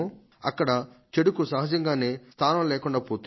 అక్కడ చెడుకు సహజంగానే స్థానం లేకుండా పోతుంది